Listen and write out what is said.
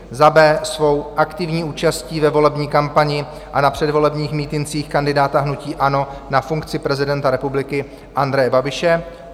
b) svou aktivní účastí ve volební kampani a na předvolebních mítincích kandidáta hnutí ANO na funkci prezidenta republiky Andreje Babiše;